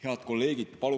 Head kolleegid!